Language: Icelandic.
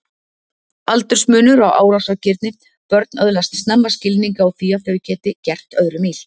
Aldursmunur á árásargirni Börn öðlast snemma skilning á því að þau geti gert öðrum illt.